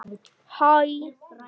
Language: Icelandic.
Þú sleppur ekki við það!